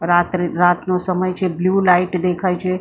રાત્રે રાતનો સમય છે બ્લુ લાઈટ દેખાય છે.